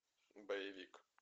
боевик